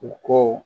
U ko